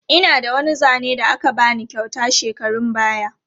Ina da wani zane da aka ba ni kyauta shekarun baya.